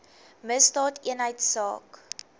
misdaadeenheidsaak